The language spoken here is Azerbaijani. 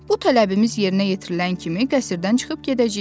Bu tələbimiz yerinə yetirilən kimi qəsrdən çıxıb gedəcəyik.